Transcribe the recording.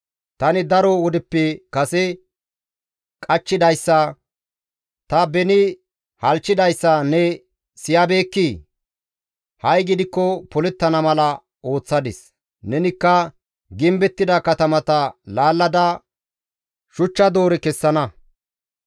«Tani daro wodeppe kase qachchidayssa, ta beni halchchidayssa ne siyabeekkii? Ha7i gidikko polettana mala ooththadis; nenikka gimbettida katamata laallada shuchcha doore kessana.